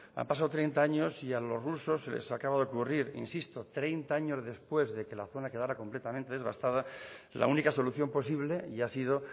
han pasado treinta años y a los rusos se les acaba de ocurrir insisto treinta años después de que la zona quedara completamente devastada la única solución posible y ha sido